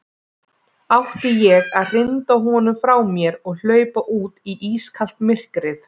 Átti ég að hrinda honum frá mér og hlaupa út í ískalt myrkrið?